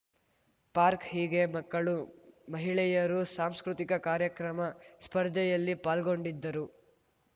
park ಹೀಗೆ ಮಕ್ಕಳು ಮಹಿಳೆಯರು ಸಾಂಸ್ಕೃತಿಕ ಕಾರ್ಯಕ್ರಮ ಸ್ಪರ್ಧೆಯಲ್ಲಿ ಪಾಲ್ಗೊಂಡಿದ್ದರು